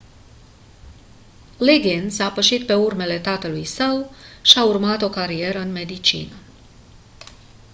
liggins a pășit pe urmele tatălui său și a urmat o carieră în medicină